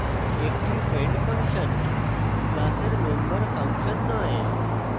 একটি friend function class member function নয়